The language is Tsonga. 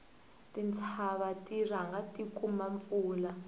tintshava ti rhanga ti kuma mpfula